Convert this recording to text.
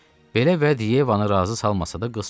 Belə vəd Yevanı razı salmasa da qız susdu.